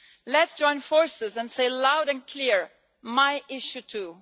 Let's join forces and say loud and clear my issue too.